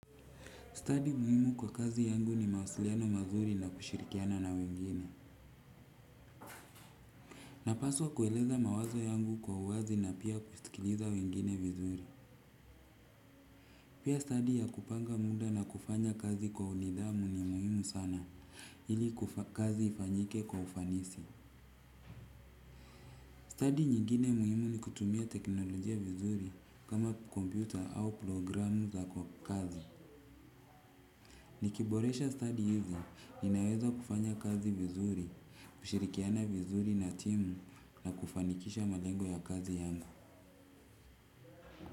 Stadi muhimu kwa kazi yangu ni mawasiliano mazuri na kushirikiana na wengine. Napaswa kueleza mawazo yangu kwa uwazi na pia kusikiliza wengine vizuri. Pia stadi ya kupanga muda na kufanya kazi kwa nidhamu ni muhimu sana ili kazi ifanyike kwa ufanisi. Stadi nyingine muhimu ni kutumia teknolojia vizuri kama kompyuta au programu za kazi. Nikiboresha stadi hizi, ninaweza kufanya kazi vizuri, kushirikiana vizuri na timu na kufanikisha malengo ya kazi yangu.